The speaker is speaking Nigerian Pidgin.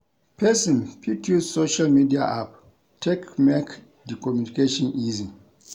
Person fit use social media app take make di communication easy